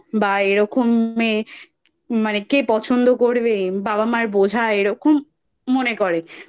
বা এরকম মেয়ে মানে কে পছন্দ করবে বাবা মার বোঝা এরকম মনে করে